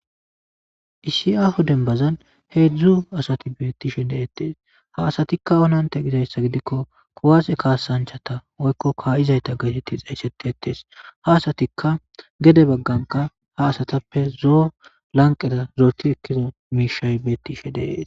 Issi aho dembazan hezhu asati beetishe de'etes heytika oonante giiko kuwase kasanchata woyko ka'izayta geteti xeegetetes ha asatika gede baha ka ha asatappe zo'o miishay lanqera zo'oti ekizays beetishe dees.